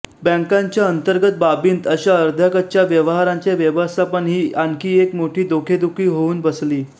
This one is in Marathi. बँकांच्या अंतर्गत बाबींत अशा अर्ध्याकच्च्या व्यवहारांचे व्यवस्थापन ही आणखी एक मोठी डोकेदुखी होऊन बसली